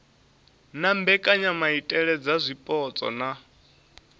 na mbekanyamaitele dza zwipotso na